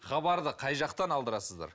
хабарды қай жақтан алдырасыздар